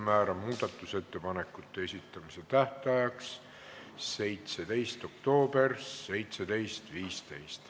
Määran muudatusettepanekute esitamise tähtajaks 17. oktoobri kell 17.15.